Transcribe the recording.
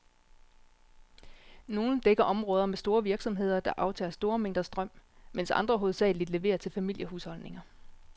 Nogle dækker områder med store virksomheder, der aftager store mængder strøm, mens andre hovedsageligt leverer til familiehusholdninger.